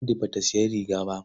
Ladi ba ta sayi rigar ba.